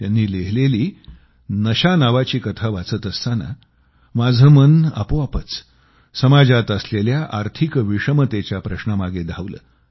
त्यांनी लिहिलेली नशा नावाची कथा वाचत असताना माझं मन आपोआपच समाजात असलेल्या आर्थिक विषमतेच्या प्रश्नामागे धावलं